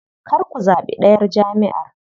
Kar ku zaɓi ɗayar jamʼiyar.